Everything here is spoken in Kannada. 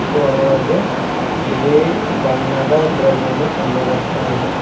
ಮತ್ತು ಅದರೊಳಗೆ ಬಿಳಿ ಬಣ್ಣದ ದ್ರವ್ಯವನ್ನು ಕಂಡು ಬರ್ತಾ ಇದೆ.